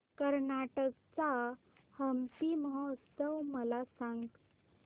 कर्नाटक चा हम्पी महोत्सव मला सांग